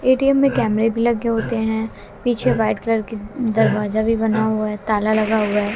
ATM में कैमरे भी लगे होते हैं पीछे वाइट कलर की दरवाजा भी बना हुआ है ताला लगा हुआ है।